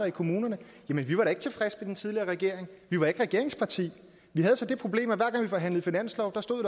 i kommunerne jamen vi var da ikke tilfredse med den tidligere regering vi var ikke regeringsparti vi havde så det problem at hver gang vi forhandlede finanslov stod